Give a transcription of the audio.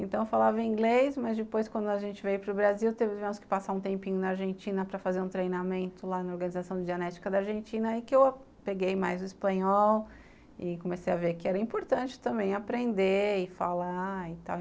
Então, falava inglês, mas depois quando a gente veio para o Brasil, tivemos que passar um tempinho na Argentina para fazer um treinamento lá na Organização de Genética da Argentina, aí que eu peguei mais o espanhol e comecei a ver que era importante também aprender e falar e tal.